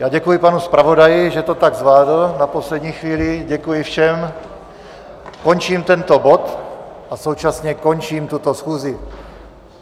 Já děkuji panu zpravodaji, že to tak zvládl na poslední chvíli, děkuji všem, končím tento bod a současně končím tuto schůzi.